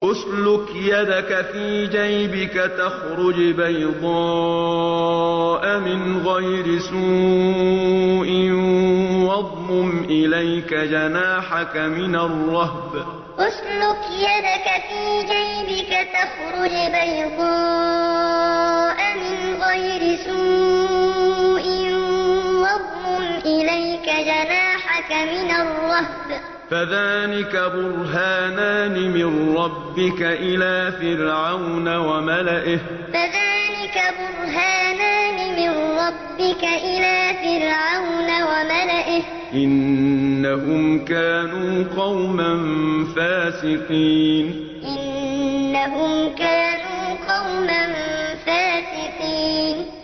اسْلُكْ يَدَكَ فِي جَيْبِكَ تَخْرُجْ بَيْضَاءَ مِنْ غَيْرِ سُوءٍ وَاضْمُمْ إِلَيْكَ جَنَاحَكَ مِنَ الرَّهْبِ ۖ فَذَانِكَ بُرْهَانَانِ مِن رَّبِّكَ إِلَىٰ فِرْعَوْنَ وَمَلَئِهِ ۚ إِنَّهُمْ كَانُوا قَوْمًا فَاسِقِينَ اسْلُكْ يَدَكَ فِي جَيْبِكَ تَخْرُجْ بَيْضَاءَ مِنْ غَيْرِ سُوءٍ وَاضْمُمْ إِلَيْكَ جَنَاحَكَ مِنَ الرَّهْبِ ۖ فَذَانِكَ بُرْهَانَانِ مِن رَّبِّكَ إِلَىٰ فِرْعَوْنَ وَمَلَئِهِ ۚ إِنَّهُمْ كَانُوا قَوْمًا فَاسِقِينَ